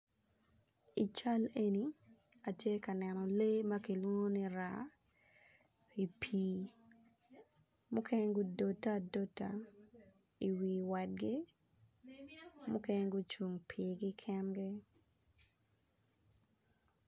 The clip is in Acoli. I cal eni atye ka neno lee makilwongo ni raa i pii mukene gudote adota i wi wadgi mukene gucung i pii gi kengi.